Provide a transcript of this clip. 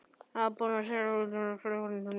Er verið að búa sig undir flutning til London?